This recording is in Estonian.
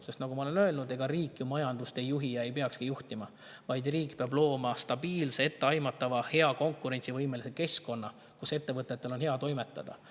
Sest nagu ma olen öelnud, ega riik ju majandust ei juhi ja ei peakski juhtima, vaid riik peab looma stabiilse, etteaimatava, hea, konkurentsivõimelise keskkonna, kus ettevõtetel on hea toimetada.